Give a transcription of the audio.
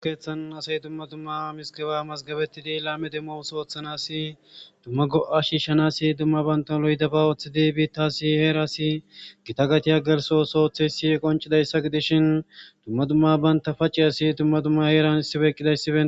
okeethan asay dumma dumma mizigeba mazgabettidi laame demmo oosuwa oothanasi dumma go7a shiishshanasi dumma bantaw lo7idaba ooththidi biittaasi heerasi gita gatiya gelso ooso oththiyayissi qoncidayssa gidishin dumma dumma banta paciyasi dumma dumma heeran issipe eqqidayssibe